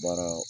Baara